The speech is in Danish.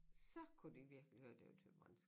Så kunne de virkelig høre det var thyborønsk